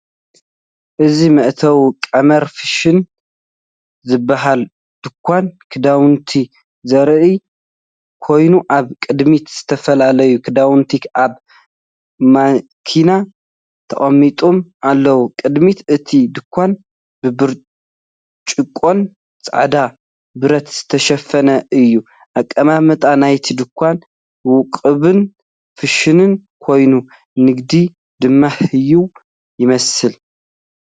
እዚ መእተዊ "ቀመር ፋሽን" ዝበሃል ድኳን ክዳውንቲ ዘርኢ ኮይኑ፡ ኣብ ቅድሚት ዝተፈላለዩ ክዳውንቲ ኣብ ማኔኪን ተቐሚጦም ኣለዉ። ቅድሚት እቲ ድኳን ብብርጭቆን ጻዕዳ ብረት ዝተሸፈነ እዩ። ኣቀማምጣ ናይቲ ድኳን ውቁብን ፋሽንን ኮይኑ፡ ንግዲ ድማ ህያው ይመስል።